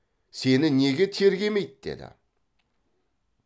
сені неге тергемейді деді